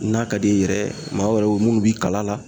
N'a ka d'i ye yɛrɛ maa wɛrɛw munnu b'i kala la